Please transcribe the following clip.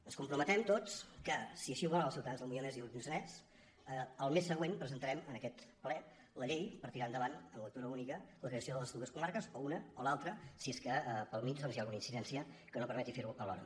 ens comprometem tots que si així ho volen els ciutadans del moianès i el lluçanès el mes següent presentarem en aquest ple la llei per tirar endavant en lectura única la creació de les dues comarques o una o l’altra si és que pel mig doncs hi ha alguna incidència que no permeti ferho alhora